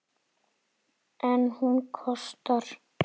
En hún kostar.